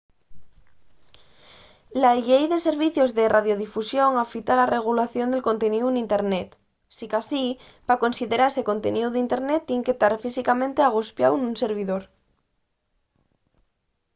la llei de servicios de radiodifusión afita la regulación del conteníu n’internet sicasí pa considerase conteníu d’internet tien que tar físicamente agospiáu nun servidor